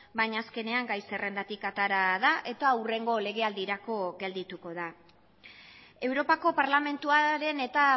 baina azkenean gai zerrendatik atera da eta hurrengo legealdirako geldituko da europako parlamentuaren eta